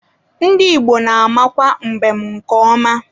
Ndị Igbo na-amakwa mbem nke ọma.